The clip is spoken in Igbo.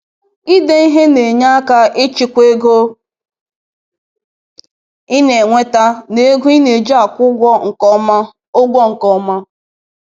Ide ihe na-enye aka ịchịkwa ego ị na-enweta na ego ị na-eji akwụ ụgwọ nke ọma. ụgwọ nke ọma.